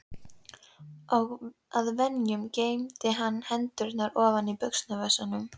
Að venju geymdi hann hendurnar ofan í buxnavösunum.